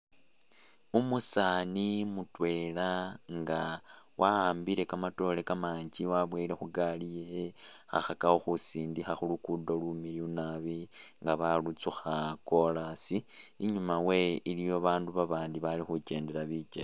Umusaani mutwela nga wa'ambile kamatoore kamanji waboyele khugari yewe khakhakakho khusindikha khulugudo lumiliyu nabi nga balutsukha chorus, inyuma wewe iliyo babandu babandi bali khukyendela bikyele